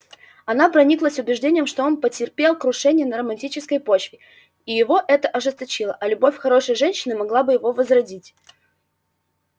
она прониклась убеждением что он потерпел крушение на романтической почве и его это ожесточило а любовь хорошей женщины могла бы его возродить